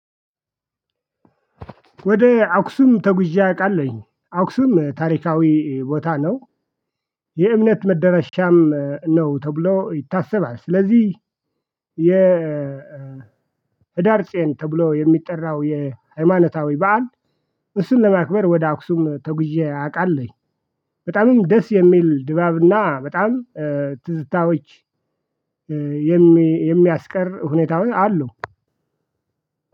ወደ አክሱም ተጉዤ አውቃለሁኝ አክሱም ታሪካዊ ቦታ ነው። የእምነት መደረሻም ነው ተብሎ ይታሰባል። ስለዚህ የ ህዳር ጼን ተብሎ የሚጠራው የሃይማኖታዊ በዓል። እሱን ለማክበር ወደ አክሱም ተጉዤ አቃለሁ። በጣምም ደስ የሚል ድባብና በጣም ትዝታዎች የሚያስቀር ሁኔታውን አሉ።